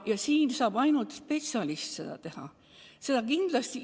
Ja seda tööd saab ainult spetsialist teha, seda päris kindlasti.